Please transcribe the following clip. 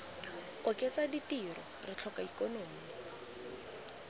oketsa ditiro re tlhoka ikonomi